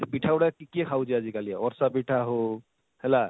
ସେ ପିଠା ଗୁଡାକ କିଏ ଖାଉଛେ ଆଜିକାଲି ଅଡ଼ସା ପିଠା ହଉ ହେଲା